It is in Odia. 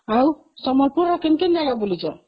ଆଉ ସମ୍ବଲପୁରର କେଉଁ କେଉଁ ଜାଗା ବୁଲିଛ